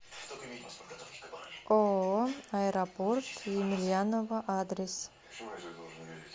ооо аэропорт емельяново адрес